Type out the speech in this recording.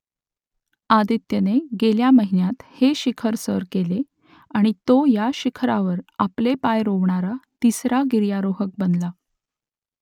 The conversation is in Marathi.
आदित्यने गेल्या महिन्यात हे शिखर सर केले आणि तो या शिखरावर आपले पाय रोवणारा तिसरा गिर्यारोहक बनला